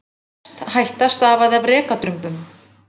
Mest hætta stafaði af rekadrumbum.